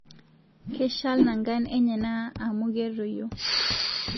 Keshal nangan enyana amu keitoyio